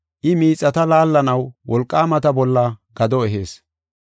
I miixata laallanaw wolqaamata bolla gado ehees.